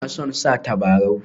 Ina son sa tabarau